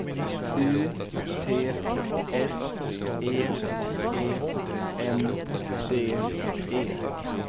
U T S E E N D E